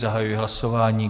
Zahajuji hlasování.